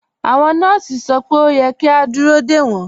Awọn nọọsì sọ pé o yẹ̀ kí a dúró de wọn.